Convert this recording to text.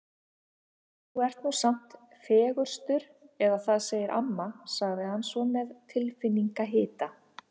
Þú ert nú samt fegurstur eða það segir amma sagði hann svo með tilfinningahita.